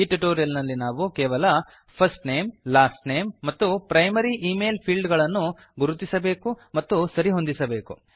ಈ ಟ್ಯುಟೋರಿಯಲ್ ನಲ್ಲಿ ನಾವು ಕೇವಲ ಫರ್ಸ್ಟ್ ನೇಮ್ ಲಾಸ್ಟ್ ನೇಮ್ ಮತ್ತು ಪ್ರೈಮರಿ ಇಮೇಲ್ ಫೀಲ್ಡ್ ಗಳನ್ನು ಗುರುತಿಸಬೇಕು ಮತ್ತು ಸರಿ ಹೊಂದಿಸಬೇಕು